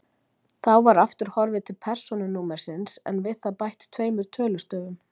Þá var aftur horfið til persónunúmersins en við það bætt tveimur tölustöfum.